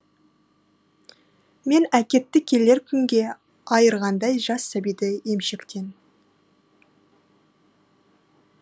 мен әкетті келер күнге айырғандай жас сәбиді емшектен